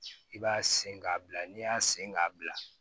I b'a sen k'a bila n'i y'a sen k'a bila